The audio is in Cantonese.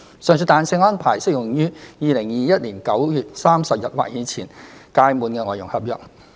上述彈性安排適用於2021年9月30日或之前屆滿的外傭合約。